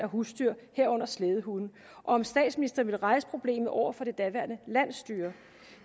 husdyr herunder slædehunde om statsministeren ville rejse problemet over for det daværende landsstyre